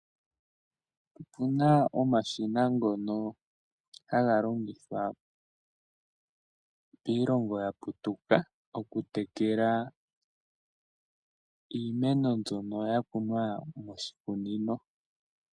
Opu na omashina ngono haga longithwa kiilongo ya putuka okutekela iimeno mbyono ya kunwa moshikunino.